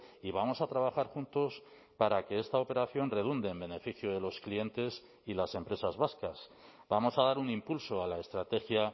y vamos a trabajar juntos para que esta operación redunde en beneficio de los clientes y las empresas vascas vamos a dar un impulso a la estrategia